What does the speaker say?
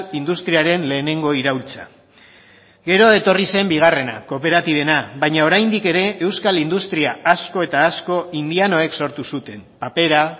industriaren lehenengo iraultza gero etorri zen bigarrena kooperatibena baina oraindik ere euskal industria asko eta asko indianoek sortu zuten papera